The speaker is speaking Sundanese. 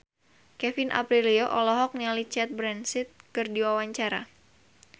Kevin Aprilio olohok ningali Cate Blanchett keur diwawancara